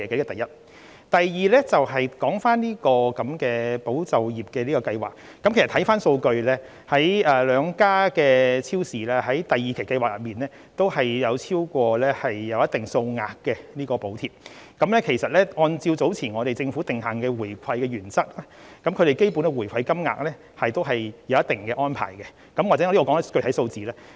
第二，關於"保就業"計劃，看回數據，兩間超市在第二期計劃中也有申領超過一定數額的補貼，而按照政府早前訂下的回饋原則，對於它們的基本回饋金額也是有一定安排的，也許我在此提出一些具體數字。